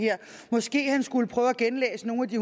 her måske han skulle prøve at genlæse nogle af de